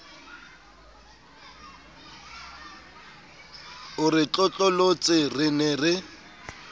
o re tlotlolotse re ne